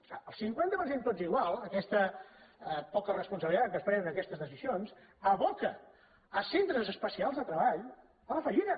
clar el cinquanta per cent tots igual aquesta poca responsabilitat amb què es prenen aques·tes decisions aboca centres especials de treball a la fa·llida